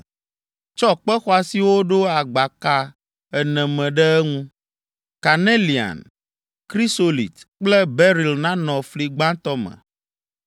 Tsɔ kpe xɔasiwo ɖo agbaka ene me ɖe eŋu. Kanelian, krisolit kple beril nanɔ fli gbãtɔ me;